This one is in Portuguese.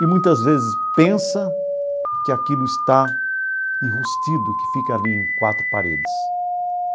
E muitas vezes pensa que aquilo está enrustido, que fica ali em quatro paredes.